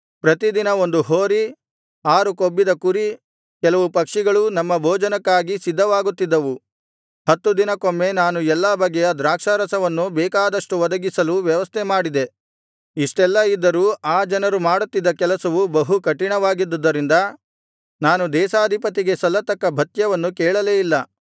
ಪ್ರತಿದಿನ ಒಂದು ಹೋರಿ ಆರು ಕೊಬ್ಬಿದ ಕುರಿ ಕೆಲವು ಪಕ್ಷಿಗಳು ನಮ್ಮ ಭೋಜನಕ್ಕಾಗಿ ಸಿದ್ಧವಾಗುತ್ತಿದ್ದವು ಹತ್ತು ದಿನಕ್ಕೊಮ್ಮೆ ನಾನು ಎಲ್ಲಾ ಬಗೆಯ ದ್ರಾಕ್ಷಾರಸವನ್ನು ಬೇಕಾದಷ್ಟು ಒದಗಿಸಲು ವ್ಯವಸ್ಥೆಮಾಡಿದೆ ಇಷ್ಟೆಲ್ಲಾ ಇದ್ದರೂ ಆ ಜನರು ಮಾಡುತ್ತಿದ್ದ ಕೆಲಸವು ಬಹು ಕಠಿಣವಾಗಿದ್ದದರಿಂದ ನಾನು ದೇಶಾಧಿಪತಿಗೆ ಸಲ್ಲತಕ್ಕ ಭತ್ಯವನ್ನು ಕೇಳಲೇ ಇಲ್ಲ